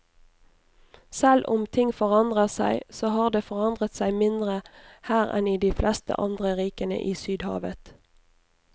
Selv om ting forandrer seg, så har det forandret seg mindre her enn i de fleste andre rikene i sydhavet.